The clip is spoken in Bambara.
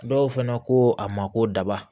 Dɔw fɛnɛ ko a ma ko daba